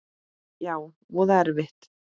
Já, voða erfitt.